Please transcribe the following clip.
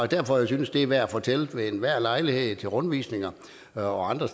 derfor jeg synes det er værd at fortælle ved enhver lejlighed til rundvisninger og andre